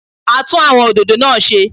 A tún àwọn òdòdó náà ṣe